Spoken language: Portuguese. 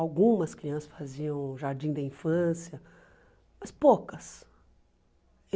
Algumas crianças faziam jardim da infância, mas poucas.